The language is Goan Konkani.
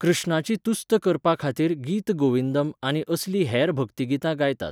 कृष्णाची तुस्त करपाखातीर गीत गोविंदम आनी असलीं हेर भक्तिगितां गायतात.